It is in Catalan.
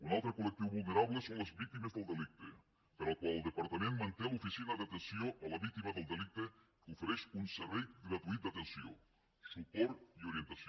un altre col·lectiu vulnerable són les víctimes del delicte per al qual el departament manté l’oficina d’atenció a la víctima del delicte que ofereix un servei gratuït d’atenció suport i orientació